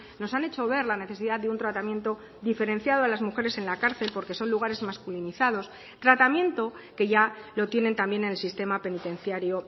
nos han hecho ver la necesidad de un tratamiento diferenciado a las mujeres en la cárcel porque son lugares masculinizados tratamiento que ya lo tienen también en el sistema penitenciario